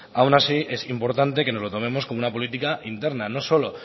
aun así es importante que nos lo tomemos como una política interna no solo